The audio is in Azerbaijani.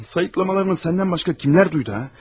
Sayıqlamalarını səndən başqa kimlər eşitdi ha?